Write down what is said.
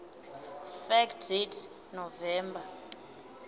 fact date november